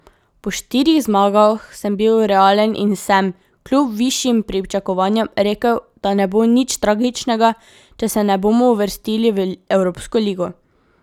Po štirih zmagah sem bil realen in sem, kljub višjim pričakovanjem, rekel, da ne bo nič tragičnega, če se ne bomo uvrstili v Evropsko ligo.